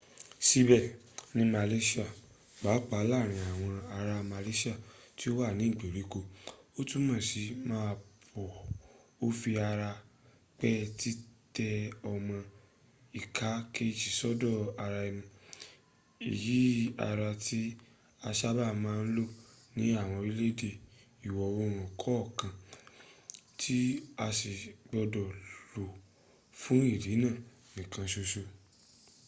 síbẹ̀ ní malaysia pàápàá láàárin àwọn ará malaysia tí ó wà ní ìgbèríko ó túnmọ̀ sí máa bọ̀” ó fi ara pẹ́ títẹ ọmọ ìka kèejì sọ́dọ̀ ara ẹni iyi ara tí a sábà máa ń lò ní àwọn orílẹ̀-èdè ìwò-oòrùn kọ̀ọ̀kan tí a sì gbọdọ̀ lò fún ìdí náà nìkan ṣoṣọ